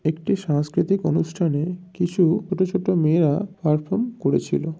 একটি সংস্কৃতিক অনুষ্ঠানে কিছু ছোট ছোট মেয়েরা পারফর্ম করেছিল।